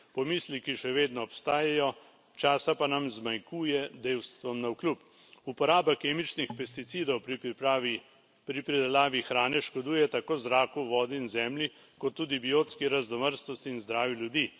Pomisleki še vedno obstajajo, časa pa nam zmanjkuje dejstvom navkljub. Uporaba kemičnih pesticidov pri pripravi, pri pridelavi hrane škoduje tako zraku, vodi in zemlji kot tudi biotski raznovrstnosti in zdravju ljudi.